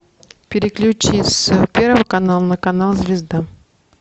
переключи с первого канала на канал звезда